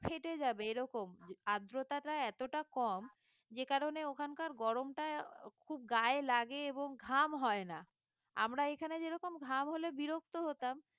ফেটে যাবে এরকম আদ্রতাটা এতটা কম যে কারণে ওখানকার গরমটা খুব গায়ে লাগে এবং ঘাম হয় না আমরা এখানে যেরকম ঘাম হলে বিরক্ত হতাম